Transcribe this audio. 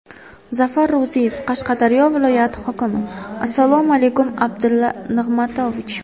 Zafar Ro‘ziyev, Qashqadaryo viloyati hokimi: Assalomu alaykum, Abdulla Nig‘matovich.